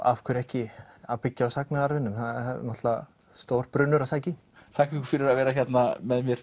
af hverju ekki að byggja á sagnaarfinum það er náttúrulega stór brunnur að sækja í þakka ykkur fyrir að vera með mér